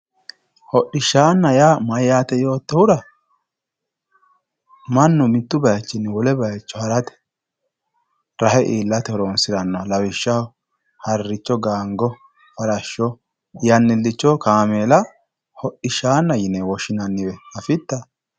hodhishshanna yaa mayyate yoottohura mannu mitu bayichinni wole bayicho harate rahe iillate horonsiranoha lawishshaho haricho gaango farash yannilicho kaameela hodhishshaana yine woshshinanniwe afitta?